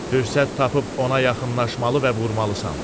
Fürsət tapıb ona yaxınlaşmalı və vurmalısan.